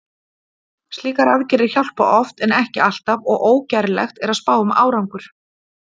Slíkar aðgerðir hjálpa oft en ekki alltaf og ógerlegt er að spá um árangur.